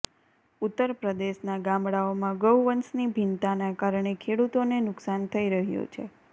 ઉત્તર પ્રદેશના ગામડાઓમાં ગૌવંશની ભિન્નતાના કારણે ખેડૂતોને નુકસાન થઈ રહ્યું છે